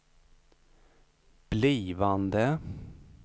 blivande